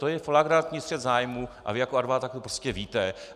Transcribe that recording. To je flagrantní střet zájmů a vy jako advokát to prostě víte.